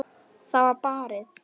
Það var barið.